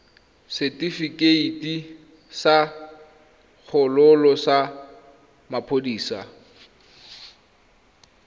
setefikeiti sa kgololo sa maphodisa